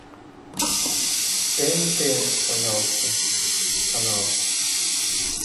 тнт пожалуйста канал